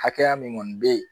Hakɛya min kɔni bɛ ye